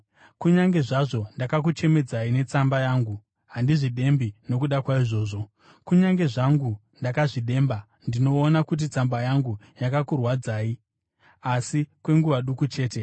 Kunyange zvazvo ndakakuchemedzai netsamba yangu, handizvidembi nokuda kwaizvozvo. Kunyange zvangu ndakazvidemba, ndinoona kuti tsamba yangu yakakurwadzai, asi kwenguva duku chete,